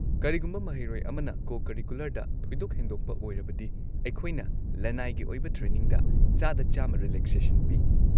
ꯀꯔꯤꯒꯨꯝꯕ ꯃꯍꯩꯔꯣꯏ ꯑꯃꯅ ꯀꯣ-ꯀꯔꯤꯀꯨꯂꯔꯗ ꯊꯣꯏꯗꯣꯛ ꯍꯦꯟꯗꯣꯛꯄ ꯑꯣꯏꯔꯕꯗꯤ ꯑꯩꯈꯣꯏꯅ ꯂꯅꯥꯏꯒꯤ ꯑꯣꯏꯕ ꯇ꯭ꯔꯦꯅꯤꯡꯗ ꯱꯰꯰% ꯔꯤꯂꯦꯛꯁꯦꯁꯟ ꯄꯤ꯫